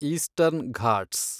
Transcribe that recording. eastern Ghats